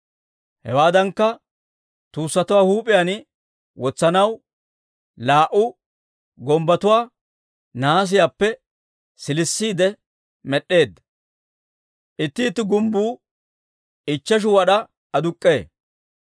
Hewaadankka, tuussatuwaa huup'iyaan wotsanaw laa"u gumbbotuwaa nahaasiyaappe siilisiide, med'd'eedda; itti itti gumbbuu ichcheshu wad'aa aduk'k'ee.